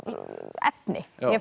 efni